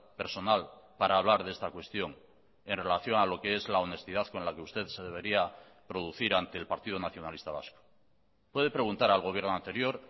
personal para hablar de esta cuestión en relación a lo que es la honestidad con la que usted se debería producir ante el partido nacionalista vasco puede preguntar al gobierno anterior